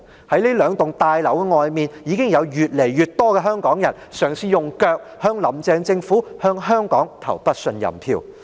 在這兩座大樓外面，已經有越來越多香港人嘗試用腳向"林鄭"政府、向香港投不信任票。